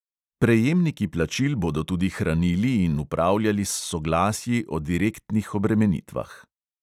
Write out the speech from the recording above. Prejemniki plačil bodo tudi hranili in upravljali s soglasji o direktnih obremenitvah.